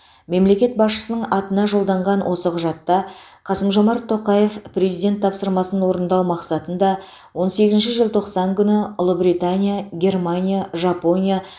мемлекет басшысының атына жолданған осы құжатта қасым жомарт тоқаев президент тапсырмасын орындау мақсатында он сегізінші желтоқсан күні ұлыбритания германия жапония